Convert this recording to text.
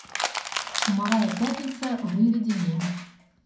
чумовая пятница выведи мне